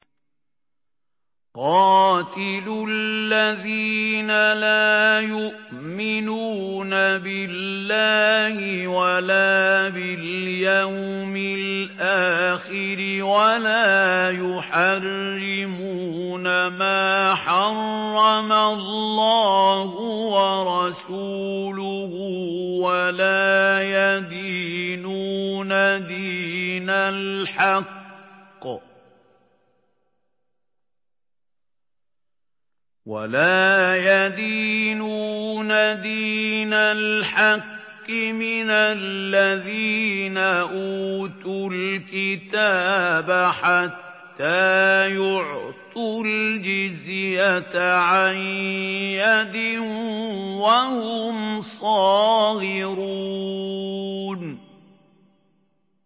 قَاتِلُوا الَّذِينَ لَا يُؤْمِنُونَ بِاللَّهِ وَلَا بِالْيَوْمِ الْآخِرِ وَلَا يُحَرِّمُونَ مَا حَرَّمَ اللَّهُ وَرَسُولُهُ وَلَا يَدِينُونَ دِينَ الْحَقِّ مِنَ الَّذِينَ أُوتُوا الْكِتَابَ حَتَّىٰ يُعْطُوا الْجِزْيَةَ عَن يَدٍ وَهُمْ صَاغِرُونَ